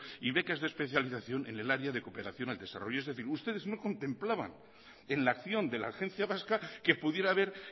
y becas de especialización en el área de cooperación al desarrollo es decir ustedes no contemplaban en la acción de la agencia vasca que pudiera haber